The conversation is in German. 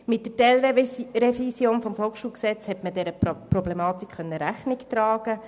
Mit der Teilrevision des VSG konnte man dieser Problematik Rechnung tragen.